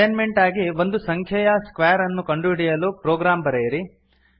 assignment ಆಗಿ ಒಂದು ಸಂಖ್ಯೆಯ ಸ್ಕ್ವೇರ್ ಅನ್ನು ಕಂಡುಹಿಡಿಯಲು ಪ್ರೊಗ್ರಾಮ್ ಬರೆಯಿರಿ